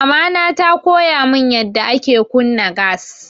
Mamana ta koya mun yanda ake kunna gas.